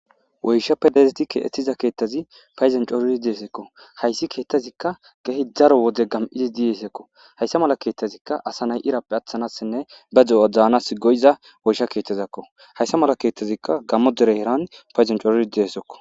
Woyshappe daridi keexetida keethazi paydon coridi deesikko hayssi keeththazikka keehi daro wode gam'idi dizaysaakko. Hayssa mala keethazika asa nay irappe atanaasinne ba de'uwa daanasi go'iza woysha keethazakko. Hayssa mala keethazikka gaamo dere heeran paydon corid dizayssakko.